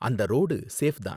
அந்த road safe தான்.